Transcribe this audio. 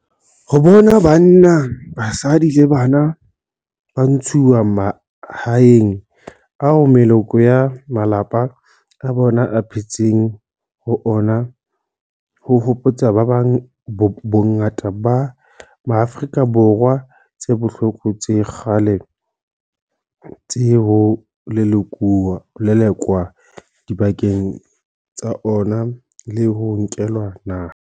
Ho bona banna, basadi le bana ba ntshuwa mahaeng ao meloko ya malapa a bona e phetseng ho ona ho hopotsa bongata ba Maafrika Borwa tse bohloko tsa kgale tsa ho lelekwa dibakeng tsa ona le ho nkelwa naha.